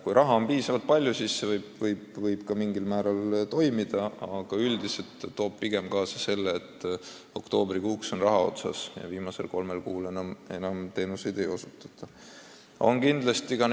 Kui raha on piisavalt palju, siis see võib ka mingil määral toimida, aga üldiselt toob see pigem kaasa olukorra, et oktoobrikuuks on raha otsas ja viimasel kolmel kuul enam teenuseid suurt ei osutata.